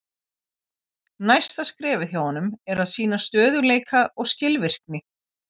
Næsta skrefið hjá honum er að sýna stöðugleika og skilvirkni.